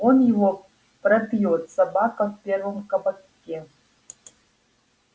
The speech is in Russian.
он его пропьёт собака в первом кабаке